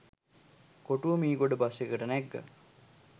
කොටුව Meegoda bus එකකට නැග්ගා.